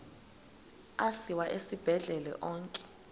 asiwa esibhedlele onke